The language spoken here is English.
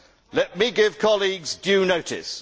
Let me give colleagues due notice.